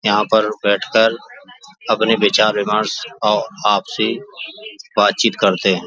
यहाँ पर बैठ कर अपने विचार विमर्श और आपसी बात चित करते --